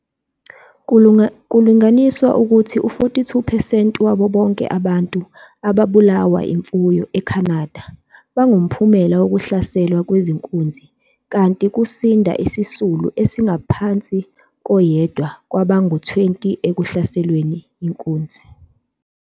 Kulinganiselwa ukuthi u-42 percent wabo bonke abantu ababulawa imfuyo eCanada bangumphumela wokuhlaselwa kwezinkunzi, kanti kusinda izisulu ezingaphansi koyedwa kwabangu-20 ekuhlaselweni yinkunz.